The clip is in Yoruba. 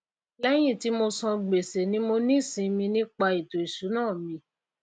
léyìn tí mo san gbèsè mimo ní ìsimi nípa ètò ìsúná mi